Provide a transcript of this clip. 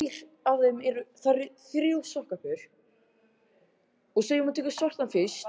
Eftir dágóða stund breytist glápið í störu.